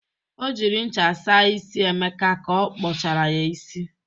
O jiri ncha sa isi Emeka ka ọ kpọchara ya isi.